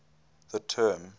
the term